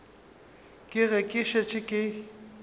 ke ge ke šetše ke